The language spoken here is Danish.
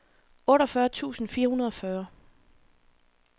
otteogfyrre tusind fire hundrede og fyrre